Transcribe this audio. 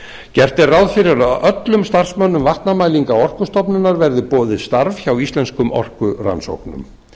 gert er ráð fyrir að öllum starfsmönnum vatnamælinga orkustofnunar verði boðið starf hjá íslenskum orkurannsóknum